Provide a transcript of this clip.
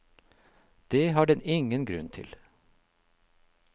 Det har den ingen grunn til.